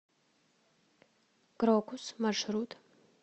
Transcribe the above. крокус маршрут